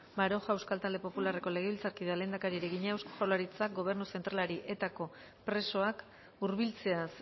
baroja euskal talde popularreko legebiltzarkideak lehendakariari egina eusko jaurlaritzak gobernu zentralari etako presoak hurbiltzeaz